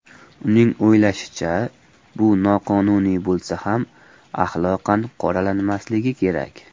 Uning o‘ylashicha, bu noqonuniy bo‘lsa ham, axloqan qoralanmasligi kerak.